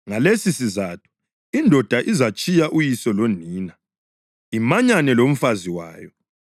‘Ngalesisizatho indoda izatshiya uyise lonina imanyane lomfazi wayo,